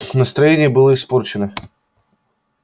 настроение было испорчено